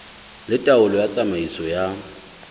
le taolo ya tsamaiso ya